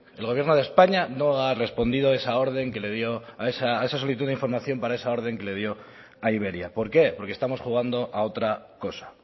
el gobierno de españa no ha respondido esa orden que le dio a esa solicitud de información para esa orden que le dio a iberia por qué porque estamos jugando a otra cosa